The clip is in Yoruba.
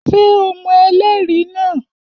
Ṣé o mọ ẹlẹ́rìí náà?